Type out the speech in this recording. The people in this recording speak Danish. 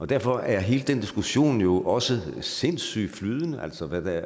derfor er hele den diskussion jo også sindssygt flydende altså hvad